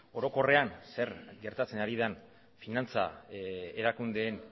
orokorrean zer gertatzen ari den finantza erakundeen